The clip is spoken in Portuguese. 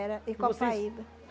e copaíba